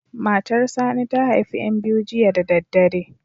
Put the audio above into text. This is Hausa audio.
Matar Sani ta haifi ƴan biyu jiya da daddare.